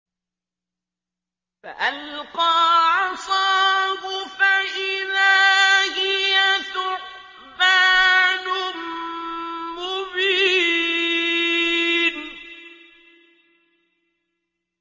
فَأَلْقَىٰ عَصَاهُ فَإِذَا هِيَ ثُعْبَانٌ مُّبِينٌ